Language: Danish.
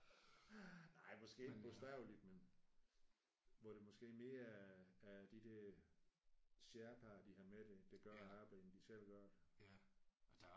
Nej måske ikke bogstaveligt men hvor det måske mere er er de der sherpaer de har med der der gør arbejdet end de selv gør det